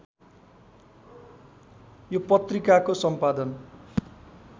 यो पत्रिकाको सम्पादन